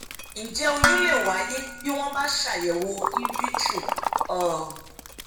ǹjẹ oyún lè wáyé bí wọn bá ṣeàyẹwò invitro um